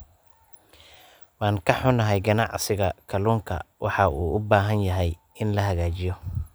Waan ka xunahay, ganacsiga kalluunka waxa uu u baahan yahay in la hagaajiyo.